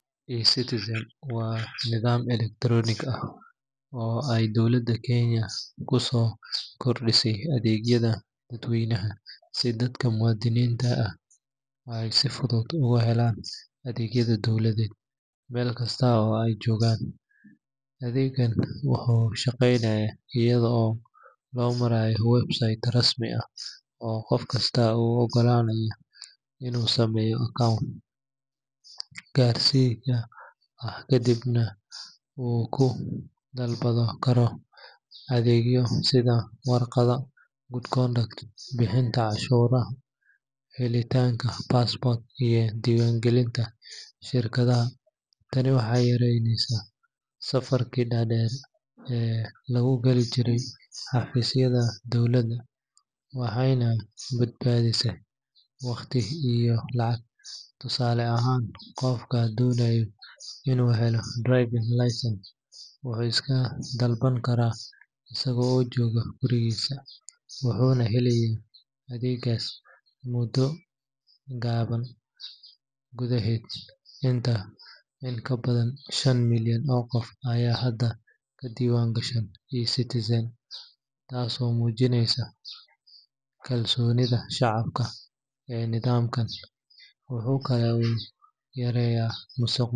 eCitizen waa nidaam elektaroonik ah oo ay dowladda Kenya ku soo kordhisay adeegyada dadweynaha si dadka muwaadiniinta ah ay si fudud uga helaan adeegyada dowladeed meel kasta oo ay joogaan. Adeeggan wuxuu shaqaynayaa iyada oo loo marayo website rasmi ah oo qof kasta u oggolaanaya inuu sameeyo account gaarkiisa ah kadibna uu ku dalban karo adeegyo sida warqadda Good Conduct, bixinta cashuuraha, helitaanka passport, iyo diiwaangelinta shirkadaha. Tani waxay yaraysay safafkii dhaadheer ee lagu gali jiray xafiisyada dowladda waxayna badbaadisay waqti iyo lacag. Tusaale ahaan qofka doonaya inuu helo driving license wuu iska dalban karaa isaga oo jooga gurigiisa, wuxuuna helayaa adeeggaas muddo gaaban gudaheed. In ka badan shan milyan oo qof ayaa hadda ka diiwaan gashan eCitizen, taasoo muujinaysa kalsoonida shacabka ee nidaamkan. Waxa kale oo uu yareeyay musuqmaasuq,